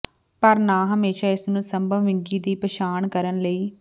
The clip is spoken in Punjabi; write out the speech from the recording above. ਪਰ ਨਾ ਹਮੇਸ਼ਾ ਇਸ ਨੂੰ ਸੰਭਵ ਵਿੰਗੀ ਦੀ ਪਛਾਣ ਕਰਨ ਲਈ